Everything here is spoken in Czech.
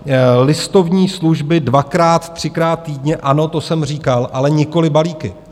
Listovní služby dvakrát třikrát týdně, ano, to jsem říkal, ale nikoliv balíky.